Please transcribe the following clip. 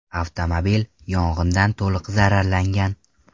Avtomobil yong‘indan to‘liq zararlangan.